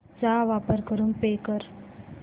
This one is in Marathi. चा वापर करून पे कर